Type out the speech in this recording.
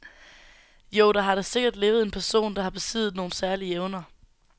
Jo, der har da sikkert levet en person, der har besiddet nogle særlige evner.